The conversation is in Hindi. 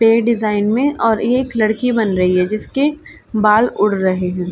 पेड़ डिजाईन मे और ये एक लडकी बन रही है जिसके बाल उड़ रहे है।